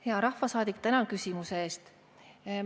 Hea rahvasaadik, tänan küsimuse eest!